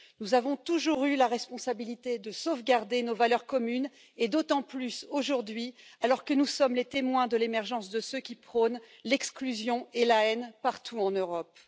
Nous avons toujours eu la responsabilité de sauvegarder nos valeurs communes, d'autant plus aujourd'hui, alors que nous sommes les témoins de l'émergence de ceux qui prônent l'exclusion et la haine partout en Europe.